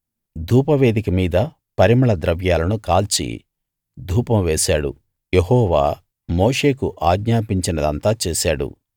ధూపవేదిక మీద పరిమళ ద్రవ్యాలను కాల్చి ధూపం వేశాడు యెహోవా మోషేకు ఆజ్ఞాపించినదంతా చేశాడు